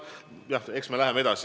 Jah, eks me läheme edasi.